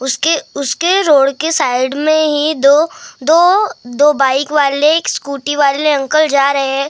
उसके उसके रोड के साइड में ही दो दो दो बाइक वाले एक स्कूटी वाले अंकल जा रहे--